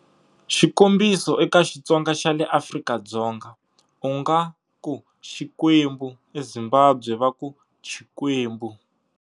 Xikombiso, eka Xitsonga xa le Afrika-Dzonga u nga ku-"Xikwembu", EZimbabwe va ku-"Chikwembu".